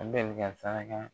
An bɛ ni kan